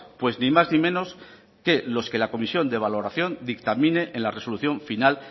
pues ni más ni menos que los que la comisión de valoración dictamine en la resolución final